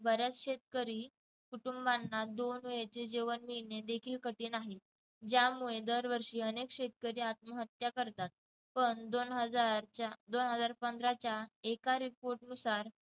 बऱ्याच शेतकरी कुटुंबांना दोन वेळचे जेवण मिळणे देखील कठीण आहे यामुळे दरवर्षी अनेक शेतकरी आत्महत्या करतात पण दोन हजारच्या दोन हजार पंधराच्या एका report नुसार